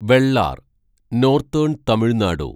Vellar northern Tamil Nadu